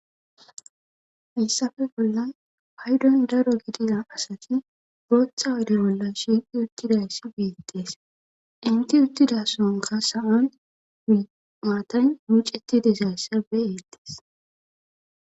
Hassafe bollan haydon daro gidina asati botha wade bola shiiqi uttidayssi biittees inti uttidasonka sa'an maatan miceti desayssa beeettees.